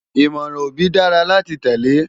Ìmọ̀ràn òbí dára láti tẹ́lé